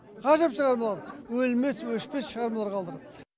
ғажап шығармалар өлмес өшпес шығармалар қалдырды